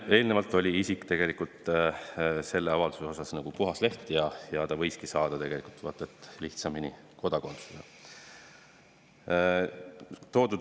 Eelnevalt oli isik selles mõttes puhas leht ja ta võiski vaata et lihtsamini kodakondsuse saada.